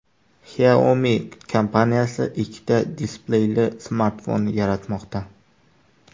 Xiaomi kompaniyasi ikkita displeyli smartfon yaratmoqda.